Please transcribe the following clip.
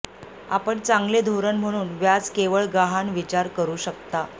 आपण चांगले धोरण म्हणून व्याज केवळ गहाण विचार करू शकता